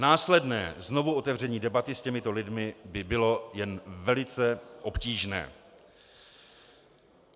Následné znovuotevření debaty s těmito lidmi by bylo jen velice obtížné.